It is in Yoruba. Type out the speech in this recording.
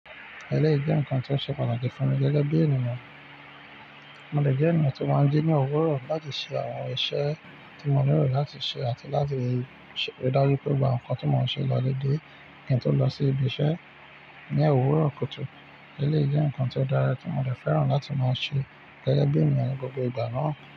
Ẹlé jẹ́ nǹkan tó ṣe pàtàkì fún mi gẹ́gẹ́ bí ènìyàn. Mo dè jẹ́ ènìyàn tí ó máa ń jí ní òwúrọ̀ láti ṣe àwọn iṣẹ́ tí mo nílò láti ṣe àti láti ríi dájú pé gbogbo àwon nǹkan tí mo ṣe lọ́dèdè kí to lọ sí ibi iṣẹ́ ní òwúrọ̀ kùtù. Elé jẹ́ nǹkan tó dára tí mo dè fẹ́ràn láti máa ṣe gẹ́gẹ́ bí ènìyàn gbogbo ìgbà náà.